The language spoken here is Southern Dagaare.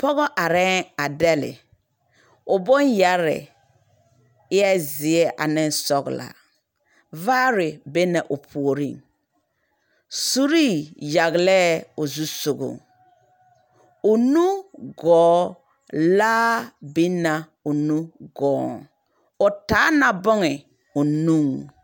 Pͻge arԑԑ a dԑlle. O boŋyԑrre eԑ zeԑ ane sͻgelaa. Vaare be na o puoriŋ. Suree yagelԑԑ o zusogͻŋ. O nu gͻͻ, laa biŋ na o nu gͻͻŋ. O taa na bone o nuŋ.